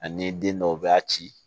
Ani den dɔw b'a ci